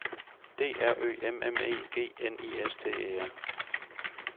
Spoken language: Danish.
D R Ø M M E G N I S T E R